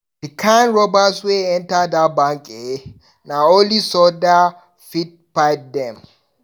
Di kind robbers wey enta dat bank eh, na only soldier dem fit fight dem.